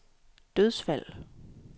dødsfald